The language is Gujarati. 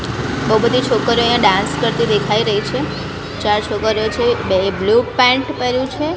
બો બધી છોકરીઓ અહીંયા ડાન્સ કરતી દેખાય રહી છે ચાર છોકરીઓ છે બેએ બ્લુ પેન્ટ પેર્યું છે.